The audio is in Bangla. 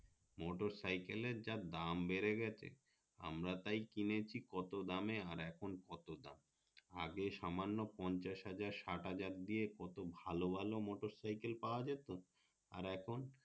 মোটরসাইকেল এর যা দাম বেড়ে গেছে আমরা তাই কিনেছে কত দামে আর এখন কত দাম আগে সামান্য পঞ্চাশ হাজার ষাট হাজার দিয়ে কত ভালো ভালো মোটরসাইকেল পাওয়া যেত আর এখন